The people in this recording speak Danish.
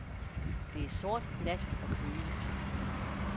Det er sort nat og køligt.